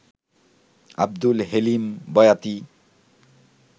Abdul Halim Boyati